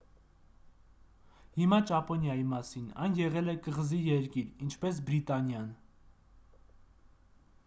հիմա ճապոնիայի մասին այն եղել է կղզի երկիր ինչպես բրիտանիան